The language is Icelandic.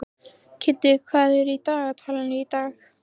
Kiddi, hvað er í dagatalinu í dag?